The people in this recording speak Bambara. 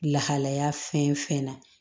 Lahalaya fɛn fɛn na